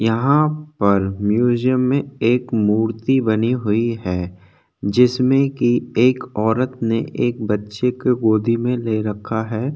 यहाँ पर म्यूज़ियम में एक मूर्ति बनी हुई है जिसमे एक ओरत ने एक बच्चे को गोदी में ले रखा है।